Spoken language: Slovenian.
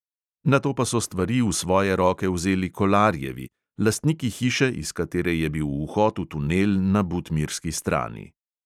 Nato pa so stvari v svoje roke vzeli kolarjevi, lastniki hiše, iz katere je bil vhod v tunel na butmirski strani.